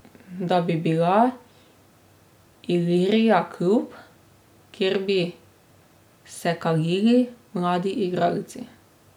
Da bi bila Ilirija klub, kjer bi se kalili mladi igralci.